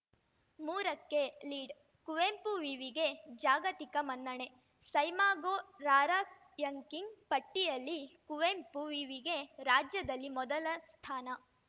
ಮೂರಕ್ಕೆ ಲೀಡ್‌ ಕುವೆಂಪು ವಿವಿಗೆ ಜಾಗತಿಕ ಮನ್ನಣೆ ಸೈಮಾಗೋ ರಾರ‍ಯಂಕಿಂಗ್‌ ಪಟ್ಟಿಯಲ್ಲಿ ಕುವೆಂಪು ವಿವಿಗೆ ರಾಜ್ಯದಲ್ಲಿ ಮೊದಲ ಸ್ಥಾನ